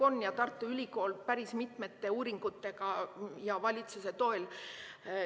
Tartu Ülikool päris mitmeid uuringuid valitsuse toel.